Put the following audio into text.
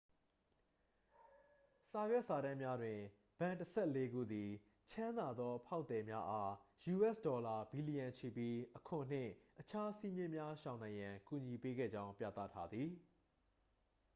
စာရွက်စာတမ်းများတွင် ဘဏ်တစ်ဆယ့်လေးခုသည် ချမ်းသာသော ဖောက်သည်များအား ယူအက်စ်ဒေါ်လာ ဘီလျံချီပြီး အခွန်နှင့် အခြားစည်းမျဉ်းများရှောင်နိုင်ရန် ကူညီပေးခဲ့ကြောင်း ပြသထားသည်